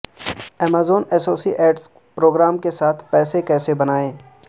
Amazon associates programme کے ساتھ پیسے کیسے بنائیں